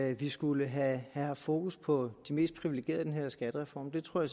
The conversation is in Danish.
at vi skulle have haft fokus på de mest privilegerede i den her skattereform det tror